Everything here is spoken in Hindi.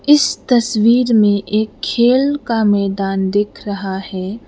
इस तस्वीर में एक खेल का मैदान दिख रहा है।